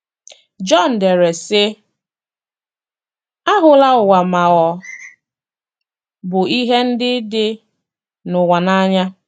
Jọn dere, sị: ““ Ahụla ụwa ma ọ bụ ihe ndị dị n’ụwa n’anya.